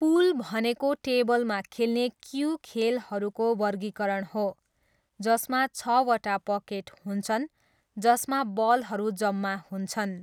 पुल भनेको टेबलमा खेल्ने क्यू खेलहरूको वर्गीकरण हो जसमा छवटा पकेट हुन्छन्, जसमा बलहरू जम्मा हुन्छन्।